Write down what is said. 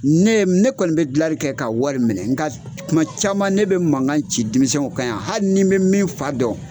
Ne ne kɔni bɛ dilanli kɛ ka wari minɛ ,n ka kuma caman ne bɛ mankan ci denmisɛn kan yan ,hali ni bɛ min fa dɔn.